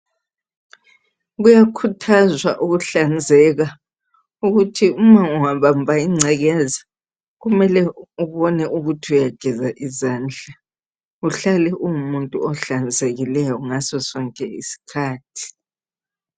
Kuyakhuthazwa ukuhlanzeka ukuthi uma ungabamba ingcekekeza kumele ubone ukuthi uyageza izandla uhlale ungumuntu ohlanzekileyo ngaso sonke isikhathi.